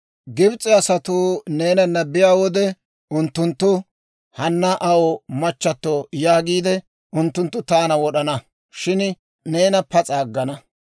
Gibis'e asatuu neena be'iyaa wode unttunttu, ‹Hanna Aa machchatto› yaagiide unttunttu taana wod'ana; shin neena pas'a aggana.